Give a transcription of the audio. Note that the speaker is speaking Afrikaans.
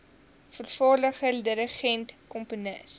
vervaardiger dirigent komponis